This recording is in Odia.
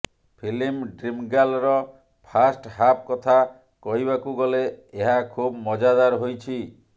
ଫିଲ୍ମ ଡ଼୍ରିମ ଗାର୍ଲର ଫାଷ୍ଟ ହାଫ କଥା କହିବାକୁଗଲେ ଏହା ଖୁବ ମଜାଦାର ହୋଇଛି